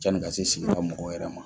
Cani ka se sigida mɔgɔw wɛrɛ ma.